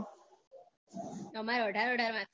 અમારે અઢાર અઢાર marks ના હોય